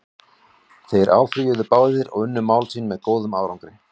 Þeir áfrýjuðu báðir og unnu mál sín með góðum árangri.